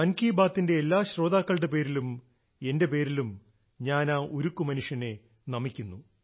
മൻ കി ബാത്തിന്റെ എല്ലാ ശ്രോതക്കളുടെ പേരിലും എന്റെ പേരിലും ഞാൻ ആ ഉരുക്കുമനുഷ്യനെ നമിക്കുന്നു